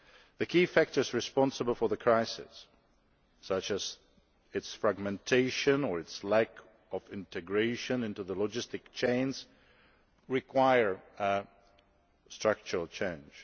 The key factors responsible for the crisis, such as its fragmentation or its lack of integration into the logistic chains, require structural change.